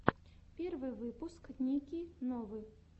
первый выпуск ники новы